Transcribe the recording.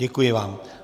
Děkuji vám.